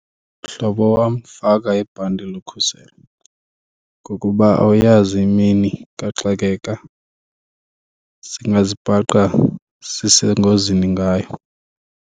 Mhlobo wam, faka ibhanti lokukhuselo ngokuba awuyazi imini kaxakeka singazibhaqa sisengozini ngayo.